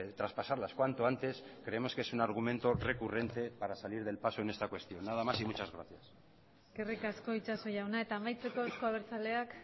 traspasarlas cuanto antes creemos que es un argumento recurrente para salir del paso en esta cuestión nada más y muchas gracias eskerrik asko itxaso jauna eta amaitzeko euzko abertzaleak